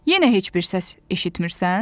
Yenə heç bir səs eşitmisən?